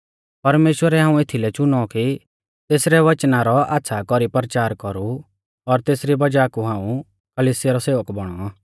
परमेश्‍वरै हाऊं एथीलै च़ुनौ कि तेसरी वचना रौ आच़्छ़ा कौरी परचार कौरु और तेसरी वज़ाह कु हाऊं कलिसिया रौ सेवक बौणौ